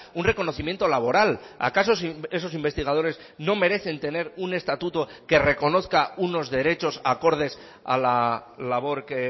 un reconocimiento laboral acaso esos investigadores no merecen tener un estatuto que reconozca unos derechos acordes a la labor que